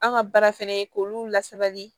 An ka baara fɛnɛ ye k'olu lasabali